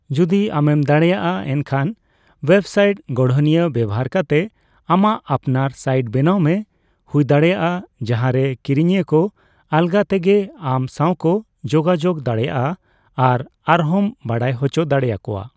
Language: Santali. ᱡᱩᱫᱤ ᱟᱢᱮᱢ ᱫᱟᱲᱮᱭᱟᱜᱼᱟ ᱮᱱᱠᱷᱟᱱ ᱳᱭᱮᱵᱥᱟᱭᱤᱴ ᱜᱚᱲᱦᱚᱱᱤᱭᱟᱹ ᱵᱮᱣᱦᱟᱨ ᱠᱟᱛᱮ ᱟᱢᱟᱜ ᱟᱯᱱᱟᱨ ᱥᱟᱭᱤᱴ ᱵᱮᱱᱟᱣ ᱢᱮ, ᱦᱩᱭᱫᱟᱲᱮᱭᱟᱜᱼᱟ ᱡᱟᱦᱟᱨᱮ ᱠᱤᱨᱤᱧᱤᱭᱟᱹ ᱠᱚ ᱟᱞᱜᱟᱛᱮᱜᱮ ᱟᱢ ᱥᱟᱣ ᱠᱚ ᱡᱳᱜᱟᱡᱳᱠ ᱫᱟᱲᱮᱭᱟᱜᱼᱟ ᱟᱨ ᱟᱨᱦᱚᱸᱢ ᱵᱟᱲᱟᱭ ᱦᱚᱪᱚ ᱫᱟᱲᱮᱭᱟ ᱠᱚᱣᱟ ᱾